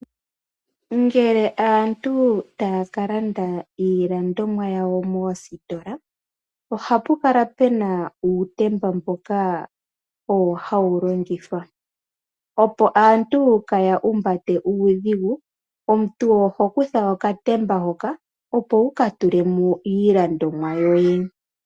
Ngele aantu taya ka landa iilandomwa yawo moositola, ohapu kala pu na uutemba mboka owo haya longitha, opo aantu kaya humbate uudhigu. Omuntu oho kutha okatemba hoka, opo wu ka tule mo iilandomwa yoye.